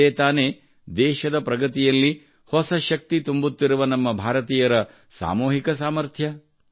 ಇದೇ ತಾನೇ ದೇಶದ ಪ್ರಗತಿಯಲ್ಲಿ ಹೊಸ ಶಕ್ತಿ ತುಂಬುತ್ತಿರುವ ನಮ್ಮ ಭಾರತೀಯರ ಸಾಮೂಹಿಕ ಸಾಮರ್ಥ್ಯ